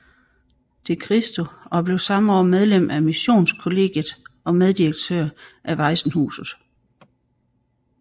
De Christo og blev samme år medlem af missionskollegiet og meddirektør af Waisenhuset